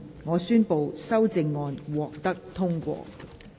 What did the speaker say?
我宣布修正案獲得通過。